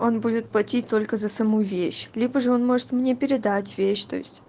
он будет платить только за саму вещь либо же он может мне передать вещь то есть